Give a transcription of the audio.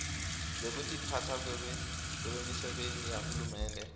lwekutiphatsa kwebemisebenti yahulumende